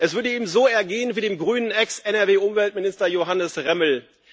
Es würde ihm so ergehen wie dem Grünen Ex NRW Umweltminister Johannes Remmel.